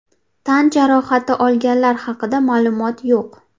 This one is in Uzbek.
Tan jarohati olganlar haqida ma’lumot yo‘q.